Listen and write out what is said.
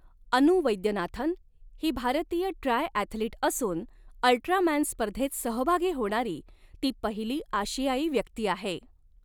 अनु वैद्यनाथन ही भारतीय ट्रायॲथलिट असून अल्ट्रामॅन स्पर्धेत सहभागी होणारी ती पहिली आशियाई व्यक्ती आहे.